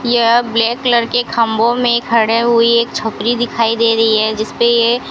यह black colour के खंभों में खड़े हुई एक छपरी दिखाई दे रही जिसपे ये--